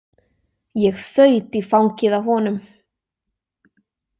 Ég þaut í fangið á honum.